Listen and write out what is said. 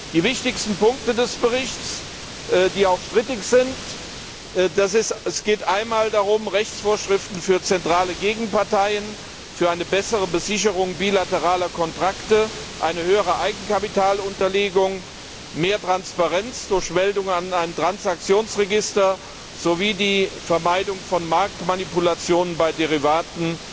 Die wichtigsten Punkte des Berichts, die auch strittig sind Es geht um Rechtsvorschriften für zentrale Gegenparteien, für eine bessere Besicherung bilateraler Kontrakte, eine höhere Eigenkapitalunterlegung, mehr Transparenz durch Meldung an ein Transaktionsregister sowie die Vermeidung von Marktmanipulationen bei Derivaten.